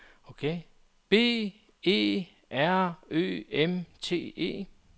B E R Ø M T E